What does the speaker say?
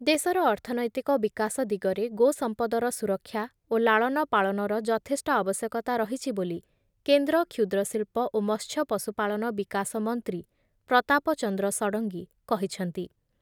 ଦେଶର ଅର୍ଥନୈତିକ ବିକାଶ ଦିଗରେ ଗୋ ସମ୍ପଦର ସୁରକ୍ଷା ଓ ଲାଳନ ପାଳନର ଯଥେଷ୍ଟ ଆବଶ୍ୟକ‌ତା ରହିଛି ବୋଲି କେନ୍ଦ୍ର କ୍ଷୁଦ୍ରଶିଳ୍ପ ଓ ମତ୍ସ୍ୟ ପଶୁପାଳନ ବିକାଶ ମନ୍ତ୍ରୀ ପ୍ରତାପ ଚନ୍ଦ୍ର ଷଡ଼ଙ୍ଗୀ କହିଛନ୍ତି ।